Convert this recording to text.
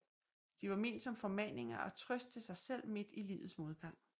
De var ment som formaninger og trøst til sig selv midt i livets modgang